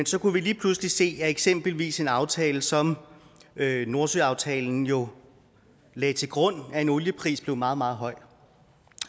så kunne vi lige pludselig se at eksempelvis en aftale som nordsøaftalen jo lagde til grund at en oliepris blev meget meget høj og